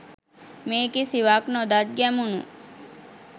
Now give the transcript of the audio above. මේ කිසිවක් නොදත් ගැමුණු